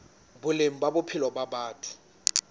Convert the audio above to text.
boleng ba bophelo ba batho